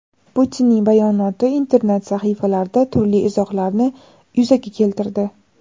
Putinning bayonoti internet sahifalarida turli izohlarni yuzaga keltirdi.